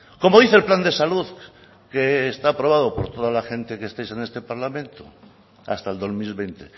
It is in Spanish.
como dice el plan de salud que está aprobado por toda la gente que estáis en este parlamento hasta el dos mil veinte